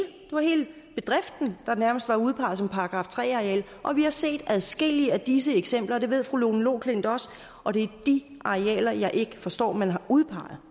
bedriften der nærmest var udpeget som § tre areal og vi har set adskillige af disse eksempler og det ved fru lone loklindt også og det er de arealer jeg ikke forstår man har udpeget